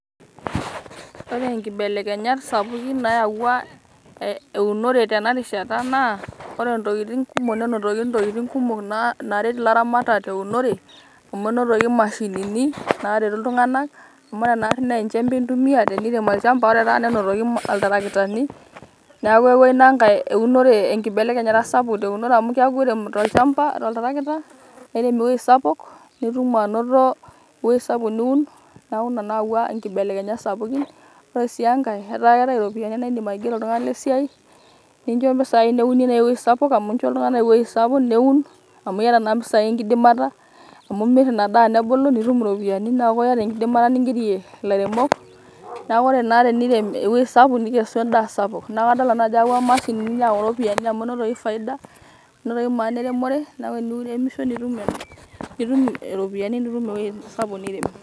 Ore inkibelekenyat sapukin nayawua eunore tenarishata naa ore ntokitin kumok nenotoki ntokitin kumok naret ilaramatak teunore amu enotoki imashinini nareti iltunganak . amu ore nari naa enchembe intumia tenirem olchamba ore taata nenotoki iltarakitani, niaku eyawua ina nkae eunore enkibelekenyata sapuk teunore . amu keaku tolchamba, oltarakita naa kirem ewuei sapuk nitum anoto ewuei sapuk niun.